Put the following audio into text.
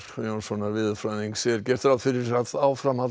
Jónssonar veðurfræðings er gert ráð fyrir að áfram